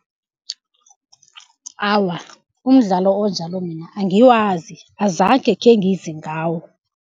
Awa, umdlalo onjalo mina angiwazi azange khengize ngawo.